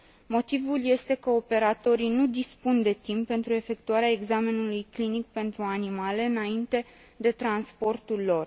Motivul este că operatorii nu dispun de timp pentru efectuarea examenului clinic pentru animale înainte de transportul lor.